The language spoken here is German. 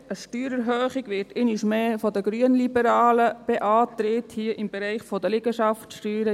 Auch dort wird einmal mehr von der glp eine Steuererhöhung beantragt, hier im Bereich der Liegenschaftssteuern.